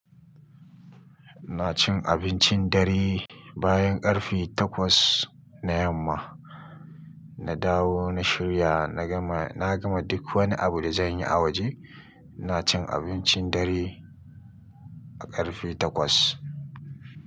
Na cin abincin dare bayan ƙarfe takwas na yamma. Na dawo, na shirya, na gama, na gama duk wani abu da zan yi a waje. iNa cin abincin dare a ƙarfe takwas.